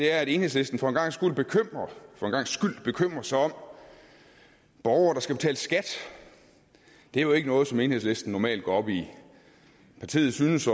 er at enhedslisten for en gangs skyld bekymrer sig om borgere der skal betale skat det er jo ikke noget som enhedslisten normalt går op i partiet synes